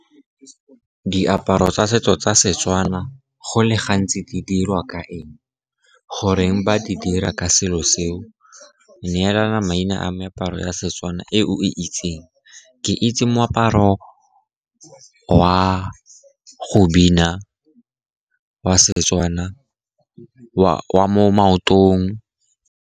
Diaparo tsa setso tsa Setswana go le gantsi di dirwa ka eng, goreng ba di dira ka selo seo? Neelana maina a meaparo ya Setswana e o e itseng? Ke itse moaparo wa go bina wa Setswana wa mo maotong.